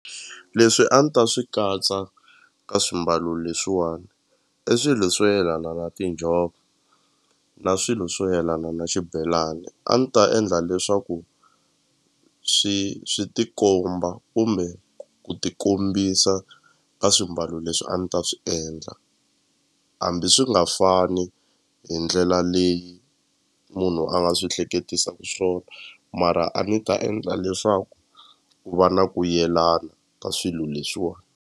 Leswi a ni ta swi katsa ka swimbalo leswiwani i swilo swo yelana na tinjhovo na swilo swo yelana na xibelani a ni ta endla leswaku swi swi tikomba kumbe ku ti kombisa ka swimbalo leswi a ni ta swi endla hambi swi nga fani hi ndlela leyi munhu a nga swi hleketisaku swona mara a ni ta endla leswaku ku va na ku yelana ka swilo leswiwani.